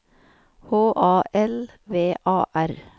H A L V A R